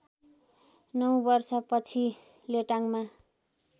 नौ वर्षपछि लेटाङमा